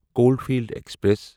Caulfield express